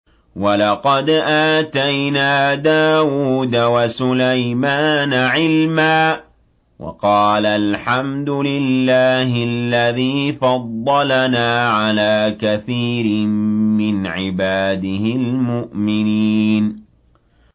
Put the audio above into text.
وَلَقَدْ آتَيْنَا دَاوُودَ وَسُلَيْمَانَ عِلْمًا ۖ وَقَالَا الْحَمْدُ لِلَّهِ الَّذِي فَضَّلَنَا عَلَىٰ كَثِيرٍ مِّنْ عِبَادِهِ الْمُؤْمِنِينَ